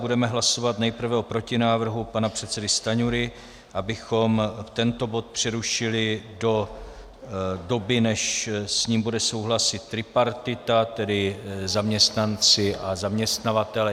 Budeme hlasovat nejprve o protinávrhu pana předsedy Stanjury, abychom tento bod přerušili do doby, než s ním bude souhlasit tripartita, tedy zaměstnanci a zaměstnavatelé.